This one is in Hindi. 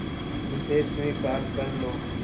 उसे स्वीकार कर लो